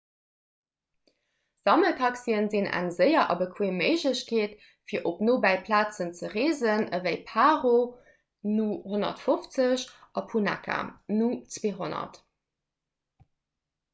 sammeltaxie sinn eng séier a bequeem méiglechkeet fir op nobäi plazen ze reesen ewéi paro nu 150 an punakha nu 200